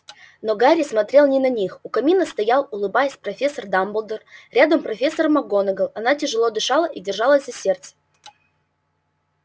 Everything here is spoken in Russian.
но гарри смотрел не на них у камина стоял улыбаясь профессор дамблдор рядом профессор макгонагалл она тяжело дышала и держалась за сердце